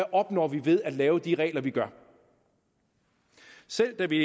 opnår ved at lave de regler vi gør selv da vi